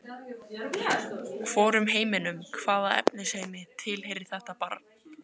Hvorum heiminum- hvaða efnisheimi- tilheyrir þetta barn?